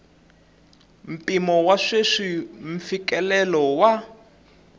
mpimo wa sweswi mfikelelo wa